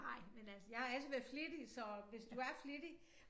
Nej men altså jeg har altid været flittig så hvis du er flittig